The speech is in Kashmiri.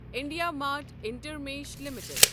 IndiaMART Intermesh limited